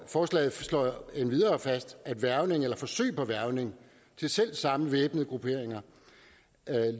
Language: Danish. forslaget slår endvidere fast at hvervning eller forsøg på hvervning til selv samme væbnede grupperinger